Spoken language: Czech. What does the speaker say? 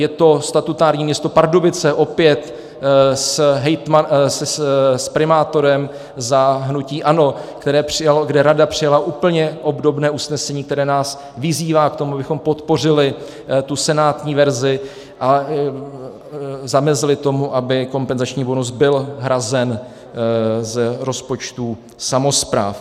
Je to statutární město Pardubice, opět s primátorem za hnutí ANO, kde rada přijala úplně obdobné usnesení, které nás vyzývá k tomu, abychom podpořili tu senátní verzi a zamezili tomu, aby kompenzační bonus byl hrazen z rozpočtů samospráv.